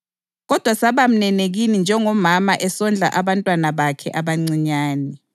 kodwa saba mnene kini njengomama esondla abantwana bakhe abancinyane.